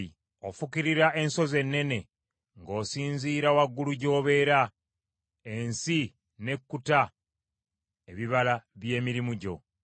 Afukirira ensozi ennene ng’osinziira waggulu gy’obeera; ensi n’ekkuta ebibala by’emirimu gyo.